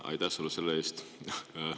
Aitäh sulle selle eest!